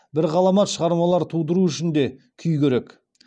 бір ғаламат шығармалар тудыру үшін де күй керек